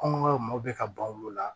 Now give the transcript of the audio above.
Kɔmɔ bɛ ka ban olu la